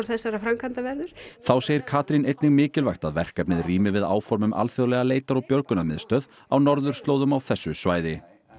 þessarar framkvæmdar verður þá segir Katrín einnig mikilvægt að verkefnið rími við áform um alþjóðlega leitar og björgunarmiðstöð á norðurslóðum á þessu svæði